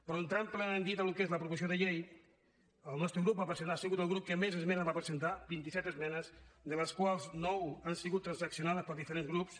però entrant plenament dit en el que és la proposició de llei el nostre grup ha sigut el grup que més esmenes va presentar vint i set esmenes de les quals nou han sigut transaccionades pels diferents grups